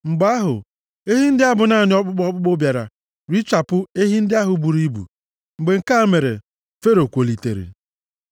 Mgbe ahụ, ehi ndị a bụ naanị ọkpụkpụ ọkpụkpụ bịara richapụ ehi ndị ahụ buru ibu. Mgbe nke a mere Fero kwolitere.